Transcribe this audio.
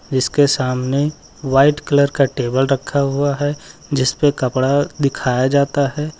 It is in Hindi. जिसके सामने व्हाइट कलर का टेबल रखा हुआ है जिसपे कपड़ा दिखाया जाता है।